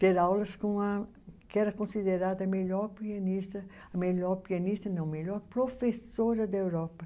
ter aulas com a que era considerada a melhor pianista, a melhor pianista, não, a melhor professora da Europa.